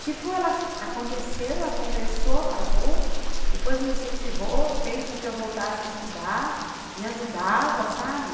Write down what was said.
Tipo, ela aconteceu, ela conversou, pagou, depois me incentivou, fez com que eu voltasse a estudar, me ajudava, sabe?